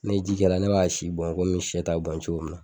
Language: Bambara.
Ni n ye ji kalaya ne b'a si bɔn komi sɛ ta bɛ bɔn cogo min na